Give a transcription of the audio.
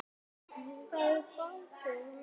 Ég fann frið.